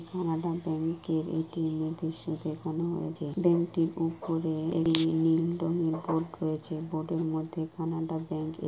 Canada ব্যাংকের A T M.. এর দৃশ্য দেখানো হয়েছে। ব্যাংকটির ওপরে নীল রঙের বোর্ড রয়েছে। বোর্ডের মধ্যে কানাডা ব্যাঙ্ক এ--